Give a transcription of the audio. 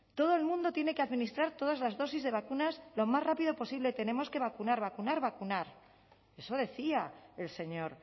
todo el mundo tiene que administrar todas las dosis de vacunas lo más rápido posible tenemos que vacunar vacunar vacunar eso decía el señor